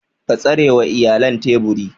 Ka tsarewa iyalan teburi.